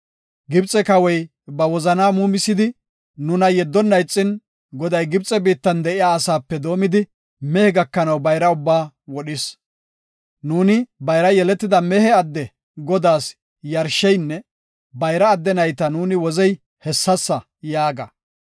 Gibxe kawoy ba wozana muumisidi nuna yeddonna ixin, Goday Gibxe biittan de7iya asape doomidi mehe gakanaw bayra ubbaa wodhis. Nuuni bayra yeletida mehe adde Godaas yarsheynne bayra adde nayta nuuni wozey hessasa yaaga.